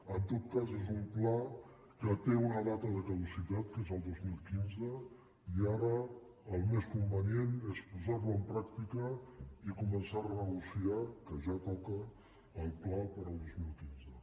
en tot cas és un pla que té una data de caducitat que és el dos mil quinze i ara el més convenient és posar lo en pràctica i començar a renegociar que ja toca el pla per al dos mil quinze